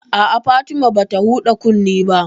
A'a, Fatima bata huɗa kunne ba